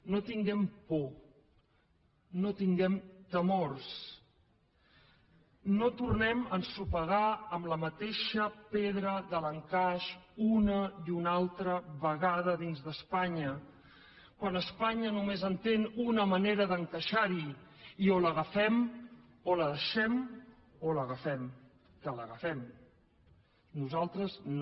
no tinguem por no tinguem temors no tornem a ensopegar amb la mateixa pedra de l’encaix una i una altra vegada dins d’espanya quan espanya només entén una manera d’encaixar hi i o l’agafem o la deixem o l’agafem que l’agafem nosaltres no